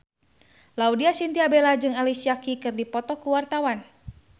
Laudya Chintya Bella jeung Alicia Keys keur dipoto ku wartawan